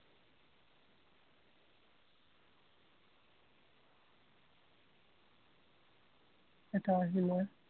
এটা আহিলে।